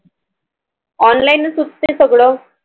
Online चं होत ते सगळं